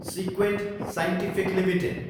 सिक्वेन्ट scientific Ltd